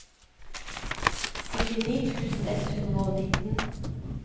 syttini tusen ett hundre og nitten